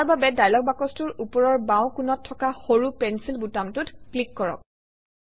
ইয়াৰ বাবে ডায়লগ বাকচটোৰ ওপৰৰ বাওঁ কোণত থকা সৰু পেঞ্চিল বুটামটোত ক্লিক কৰক